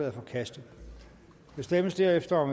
er forkastet der stemmes derefter